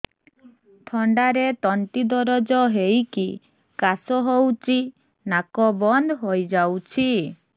ଥଣ୍ଡାରେ ତଣ୍ଟି ଦରଜ ହେଇକି କାଶ ହଉଚି ନାକ ବନ୍ଦ ହୋଇଯାଉଛି